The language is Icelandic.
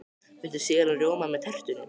Viltu sýrðan rjóma með tertunni?